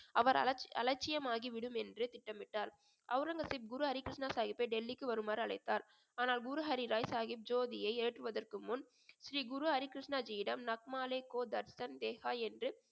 அவர் அலட்ச்~ அலட்சியமாகிவிடும் என்று திட்டமிட்டார் அவுரங்கசீப் குரு ஹரிகிருஷ்ண சாஹிப்பை டெல்லிக்கு வருமாறு அழைத்தார் ஆனால் குரு ஹரி ராய் சாஹிப் ஜோதியை ஏற்றுவதற்கு முன் ஸ்ரீ குரு ஹரிகிருஷ்ணஜியிடம் என்று